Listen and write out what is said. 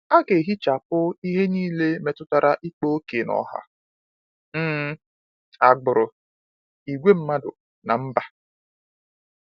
A ga-ehichapụ ihe niile metụtara ịkpa ókè n’ọha, um agbụrụ, ìgwè mmadụ, na mba.